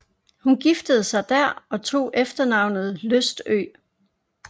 Hun giftede sig der og tog efternavnet Lystø